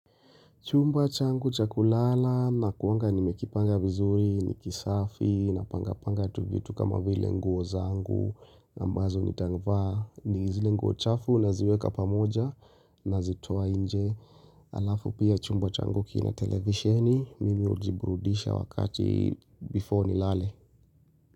Chumba changu chakulala na kuanga ni mekipanga vizuri ni kisafi na panga panga tu vitu kama vile nguo zangu na ambazo ni tangvaa ni gizile nguo chafu na ziweka pa moja na zitoa inje alafu pia chumba changu kina televisheni mimi ujiburudisha wakati before ni lale.